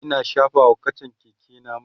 Ina shafa wa kachan Keke na mai